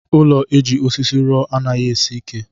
Ụlọ eji osisí rụọ anaghị esi ike.